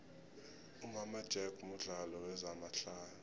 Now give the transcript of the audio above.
imama jack mudlalo wezama hlaya